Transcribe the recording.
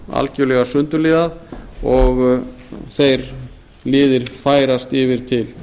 algerlega sundurliðað og þeir liðir færast yfir til